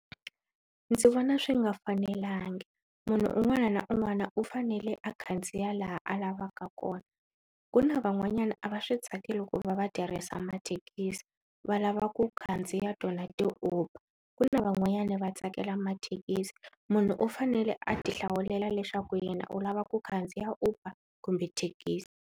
Ndzi vona swi nga fanelanga. Munhu un'wana na un'wana u fanele a khandziya laha a lavaka kona. Ku na van'wanyana a va swi tsakeli ku va va tirhisa mathekisi va lava ku khandziya tona ti-Uber, ku na van'wanyana va tsakela mathekisi. Munhu u fanele a ti hlawulela leswaku yena u lava ku khandziya Uber kumbe thekisi.